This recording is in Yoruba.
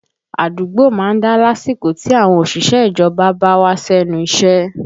Àdúgbò má ń dá lásìkò tí àwọn òṣìṣẹ́ ìjọba ò bá wá sẹ́nu iṣẹ́